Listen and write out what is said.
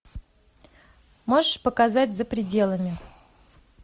можешь показать за пределами